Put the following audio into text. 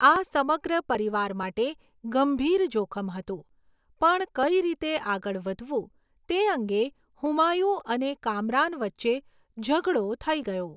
આ સમગ્ર પરિવાર માટે ગંભીર જોખમ હતું, પણ કઈ રીતે આગળ વધવું તે અંગે હુમાયુ અને કામરાન વચ્ચે ઝઘડો થઈ ગયો.